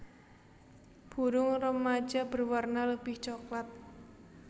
Burung remaja berwarna lebih coklat